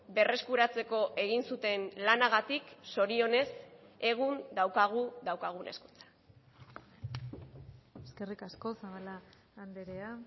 berreskuratzeko egin zuten lanagatik zorionez egun daukagu daukagun hezkuntza eskerrik asko zabala andrea